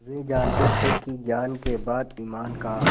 वे जानते थे कि ज्ञान के बाद ईमान का